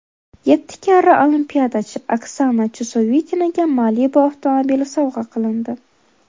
Yetti karra olimpiadachi Oksana Chusovitinaga Malibu avtomobili sovg‘a qilindi.